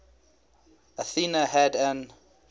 athena had an